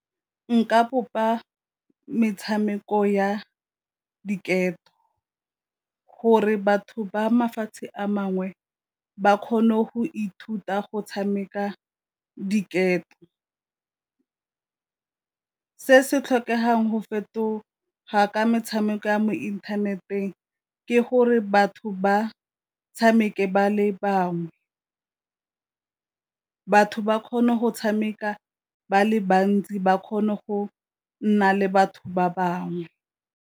Nka bopa metshameko ya diketo gore batho ba mafatshe a mangwe ba kgone go ithuta go tshameka diketo. Se se tlhokegang go fetoga ka metshameko ya mo inthaneteng ke gore batho ba tshameke ba le bangwe, batho ba kgone go tshameka ba le bantsi ba kgone go nna le batho ba bangwe.